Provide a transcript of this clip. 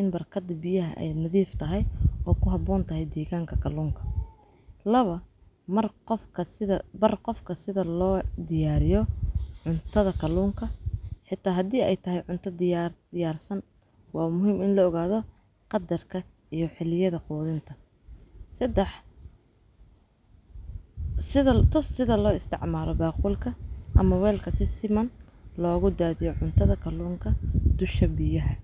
in barkadu biyaha ay nadiif tahay oo ku habboon tahay deegaanka kaluunka. Mar qofka sida bar qofka sida loo diyaariyo cuntada kaluunka. Xitaa haddii ay tahay cunto diyaar diiyaarsan, waa muhim in la ogaado qaddarka iyo xiliyada quudinta. Sidas toos sida loo isticmaalo baqulka ama weylka si siman loogu daadiyo cuntada kaluunka dusha biyaha.